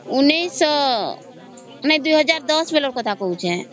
ଊଂନୈଷ ନାଇଁ ଦୁଇ ହଜାର ଦସ ବେଳ ର କଥା କହୁଛି